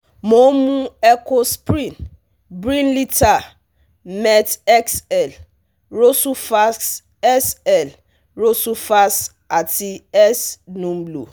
mo ń mu Ecosprin, Brilinta, Met XL, Rosuvas XL, Rosuvas àti S-Numlo